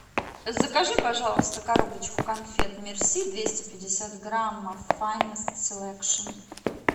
закажи пожалуйста коробочку конфет мерси двести пятьдесят грамм файнест селекшн